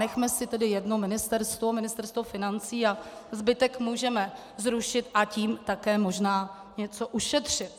Nechme si tedy jedno ministerstvo, Ministerstvo financí, a zbytek můžeme zrušit, a tím také možná něco ušetřit.